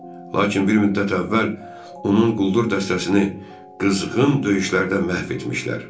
Lakin bir müddət əvvəl onun quldur dəstəsini qızğın döyüşlərdə məhv etmişlər.